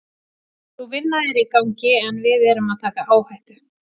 Sú vinna er í gangi en við erum að taka áhættu.